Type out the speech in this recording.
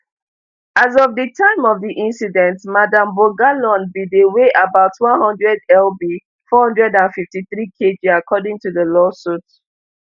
as of di time of di incident madam bongolan bin dey weigh about one hundred lb four hundred and fifty-three kg according to di lawsuit